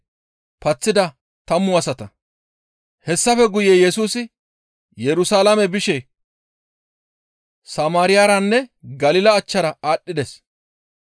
Hessafe guye Yesusi Yerusalaame bishe Samaariyaranne Galila achchara aadhdhides.